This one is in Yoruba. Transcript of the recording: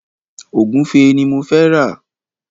Ògúnfe ni mo fẹ́ rà.